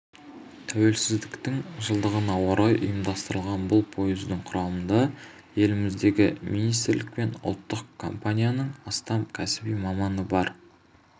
тәуелсіздіктің жылдығына орай ұйымдастырылған бұл пойыздың құрамында еліміздегі министрлік пен ұлттық компанияның астам кәсіби маманы бар